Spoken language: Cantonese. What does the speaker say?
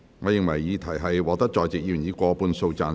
我認為議題獲得在席議員以過半數贊成。